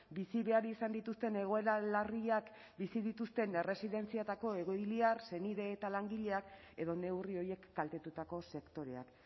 bizi behar izan dituzten egoera larriak bizi dituzten erresidentzietako egoiliar senide eta langileak edo neurri horiek kaltetutako sektoreak